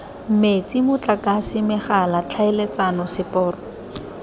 metsi motlakase megala tlhaeletsano seporo